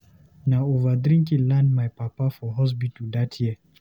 Na over drinking land my papa for hospital dat year.